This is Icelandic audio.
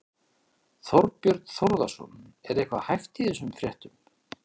Þorbjörn Þórðarson: Er eitthvað hæft í þessum fréttum?